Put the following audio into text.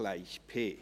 gleich P.